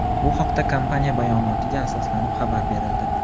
Bu haqda kompaniya bayonotiga asoslanib xabar berildi.